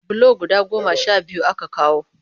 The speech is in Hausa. Bulo guda goma sha biyu aka kawo